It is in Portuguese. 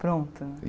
Pronto.